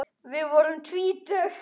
Við vorum tvítug.